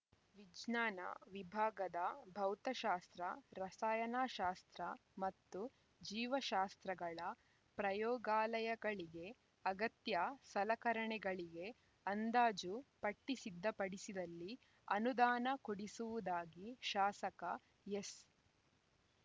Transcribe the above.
ವಿಜ್ಞಾನ ವಿಭಾಗದ ಭೌತಶಾಸ್ತ್ರ ರಸಾಯನ ಶಾಸ್ತ್ರ ಮತ್ತು ಜೀವಶಾಸ್ತ್ರಗಳ ಪ್ರಯೋಗಾಲಯಗಳಿಗೆ ಅಗತ್ಯ ಸಲಕರಣೆಗಳಿಗೆ ಅಂದಾಜು ಪಟ್ಟಿಸಿದ್ಧಪಡಿಸಿದಲ್ಲಿ ಅನುದಾನ ಕೊಡಿಸುವುದಾಗಿ ಶಾಸಕ ಎಸ್‌